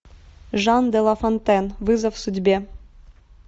жан де лафонтен вызов судьбе